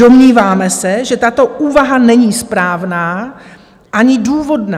Domníváme se, že tato úvaha není správná ani důvodná.